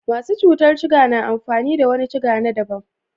Masu cutar ciga na amfani da wani ciga na daban.